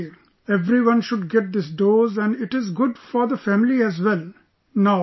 Sir Absolutely | Everyone should get this dose and it is good for the family as well